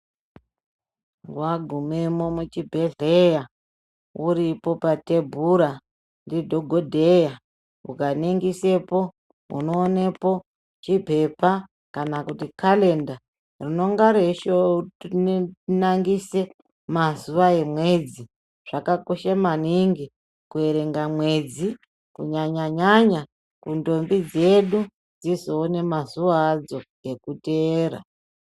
Wagumemo kuchibhedhleya uripo pathebura ndidhokodheya ukaningisepo unoonepo chipepa kana kalenda rinonga reishowe nangise mazuva emwedzi zvakakosha maningi kuerenga mwedzi kunyanyanyanya kundombi dzedu dzizoone mazuwa adzo ekuteera.